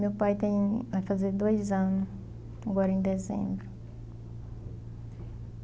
Meu pai tem... vai fazer dois anos, agora em dezembro.